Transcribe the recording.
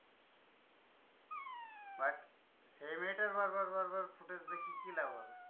But সেই মেয়েটার বার বার বার বার footage দেখিয়ে কি লাভ হবে?